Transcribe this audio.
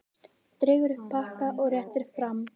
Dregur upp pakka og réttir fram.